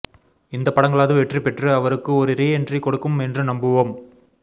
இந்த படங்களாவது வெற்றி பெற்று அவருக்கு ஒரு ரீஎண்ட்ரி கொடுக்கும் என்று நம்புவோம்